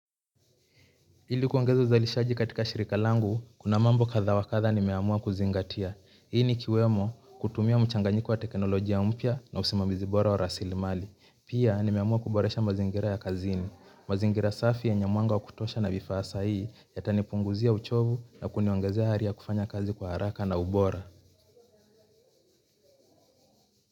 Hili kuangeza uzalishaji katika shirika langu, kuna mambo kadha wa kadha nimeamua kuzingatia. Hili likiwemo kutumia mchanganyiko wa teknolojia mpya na usimamizi bora wa rasilimali. Pia nimeamua kuboresha mazingira ya kazini. Mazingira safi yenye mwanga wa kutosha na vifaa sahihi yatanipunguzia uchovu na kuniongazea hari ya kufanya kazi kwa haraka na ubora.